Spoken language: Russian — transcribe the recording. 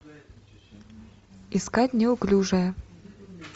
искать неуклюжая